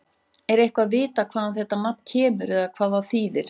Er eitthvað vitað hvaðan þetta nafn kemur eða hvað það þýðir?